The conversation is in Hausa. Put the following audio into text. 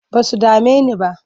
Ba su dame ni ba.